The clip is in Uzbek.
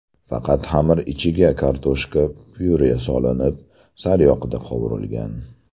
Faqat xamir ichiga kartoshka pyure solinib, sariyog‘da qovurilgan.